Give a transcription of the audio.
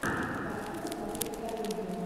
хочу посмотреть комедию